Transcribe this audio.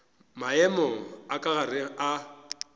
maemo a ka ga a